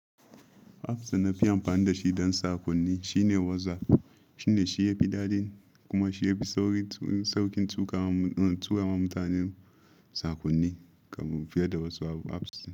Apps da na fi amfani da shi don saƙonni shine WhatsApp. Shine shi ya fi daɗi kuma shi ya fi sauƙin turama mutane saƙonni fiye da wasu apps.